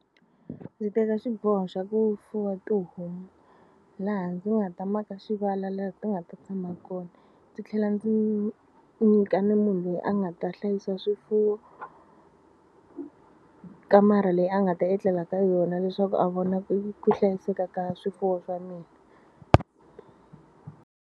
Ndzi teka xiboho xa ku fuwa tihomu laha ndzi nga ta maka xivala laha ti nga ta tshama kona ndzi tlhela ndzi nyika ni munhu loyi a nga ta hlayisa swifuwo kamara leyi a nga ta etlela ka yona leswaku a vona ku hlayiseka ka swifuwo swa mina.